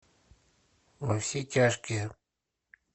во все тяжкие